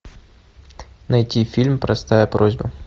найти фильм простая просьба